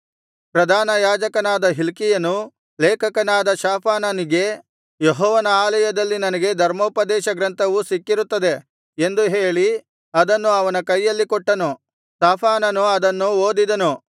ಪ್ರಧಾನ ಯಾಜಕನಾದ ಹಿಲ್ಕೀಯನು ಲೇಖಕನಾದ ಶಾಫಾನನಿಗೆ ಯೆಹೋವನ ಆಲಯದಲ್ಲಿ ನನಗೆ ಧರ್ಮೋಪದೇಶಗ್ರಂಥವು ಸಿಕ್ಕಿರುತ್ತದೆ ಎಂದು ಹೇಳಿ ಅದನ್ನು ಅವನ ಕೈಯಲ್ಲಿ ಕೊಟ್ಟನು ಶಾಫಾನನು ಅದನ್ನು ಓದಿದನು